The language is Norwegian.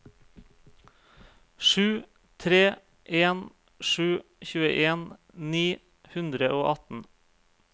sju tre en sju tjueen ni hundre og atten